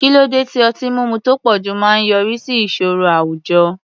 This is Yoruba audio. Kí ló dé tí ọtí mímu tó pọ̀jù máa ń yọrí sí ìṣòro àwùjọ?